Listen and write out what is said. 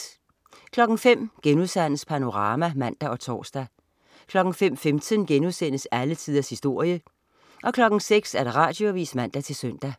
05.00 Panorama* (man og tors) 05.15 Alle tiders historie* 06.00 Radioavis (man-søn)